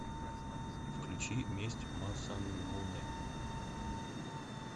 включи месть масамуне